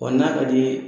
Ɔ n'a ka d'i ye